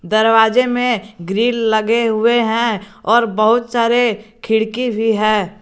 दरवाजे में ग्रिल लगे हुए हैं और बहुत सारे खिड़की भी है।